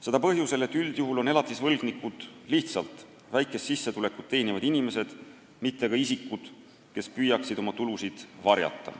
Seda põhjusel, et üldjuhul on elatisvõlgnikud lihtsalt väikest sissetulekut teenivad inimesed, mitte isikud, kes püüavad oma tulusid varjata.